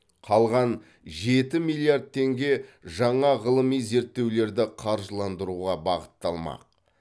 қалған жеті миллиард теңге жаңа ғылыми зерттеулерді қаржыландыруға бағытталмақ